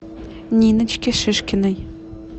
ниночке шишкиной